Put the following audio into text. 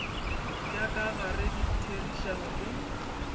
tša ka gare ditherišano le